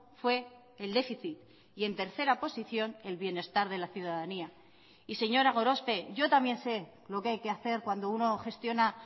fue el déficit y en tercera posición el bienestar de la ciudadanía y señora gorospe yo también sé lo que hay que hacer cuando uno gestiona